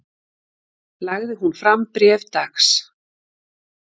Lagði hún fram bréf dags